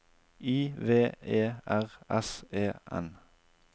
I V E R S E N